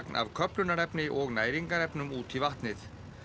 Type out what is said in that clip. af köfnunarefni og næringarefnum út í vatnið